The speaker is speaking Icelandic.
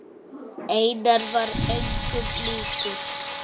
Einar var engum líkur.